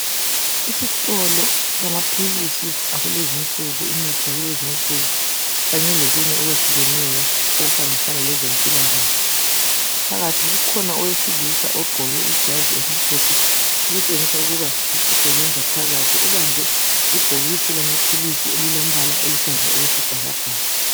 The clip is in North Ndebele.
Isitolo samaphilisi akulezinsuku, imithi yakulezinsuku kanye lokunye okwehlukeneyo okuhambisana lezempilakahle. Phakathi kukhona owesilisa ugqoke ijazi elimhlophe okutshengisa ukuba usebenza phakathi, ubambe ibhokisi lamaphilisi elilombala oluhlaza okwesibhakabhaka.